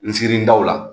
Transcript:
N siri daw la